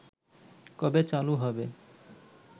কবে চালু হবে